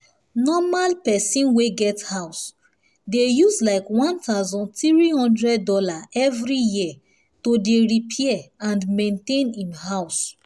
normal person wey get house dey use likeone thousand three hundred dollarsevery year to dey repair and maintain him house